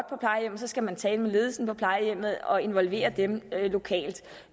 så skal man tale med ledelsen på plejehjemmet og involvere dem lokalt